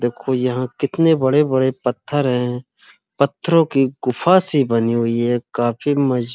देखो यहाँ कितने बड़े-बड़े पत्थर हैं। पथरो की गुफा से बनी हुई है काफी मज --